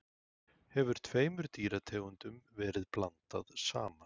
hefur tveimur dýrategundum verið blandað saman